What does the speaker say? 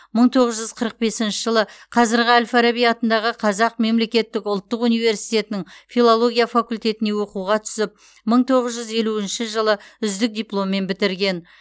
мың тоғыз жүз қырық бесінші жылы қазіргі әл фараби атындағы қазақ мемлекеттік ұлттық университетінің филология факультетіне оқуға түсіп мың тоғыз жүз елуінші жылы үздік дипломмен бітірген